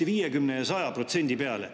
– 50 ja 100% peale.